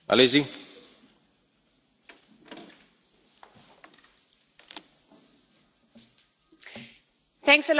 Mr President, I want to remind all my colleagues that the German Bundestag took an absolutely historic decision last Friday.